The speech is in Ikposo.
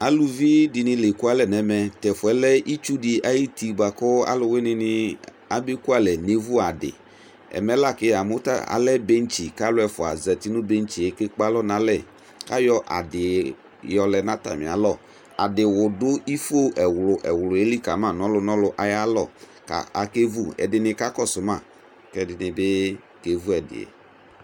Alʋvi di ni la ɛkualɛ nɛ mɛ Tʋ ɛfuɛ lɛ itsu di ayuti boa kʋ alʋwini ni abekuale nevu adi Ɛmɛ la kʋ yamʋ ta alɛ bɛntsi kʋ alʋ ɛfua zati nʋ bɛntsi yɛ kekpe alɔ n'alɛ, kayɔ adi yɔlɛ nʋ atami alɔ Adiwʋ dʋ ifo ɛwlʋ ɛwlʋ li kama nʋ ɔlʋnɔlʋ ayalɔ kʋ akevu Ɛdini kakɔsʋ ma, kʋ ɛdini bi kevu ɛdi